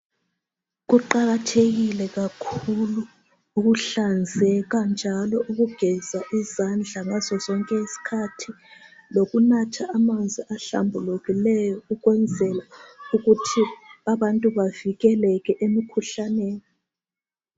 Kuqakathekile kakhulu ukuhlanzeka njalo ukugeza izandla ngasosonke isikhathi lokunatha amanzi ahlambulukileyo ukwenzela ukuthi abantu bavikeleke emikhuhlaneni.